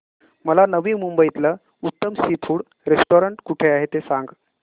मला नवी मुंबईतलं उत्तम सी फूड रेस्टोरंट कुठे आहे ते सांग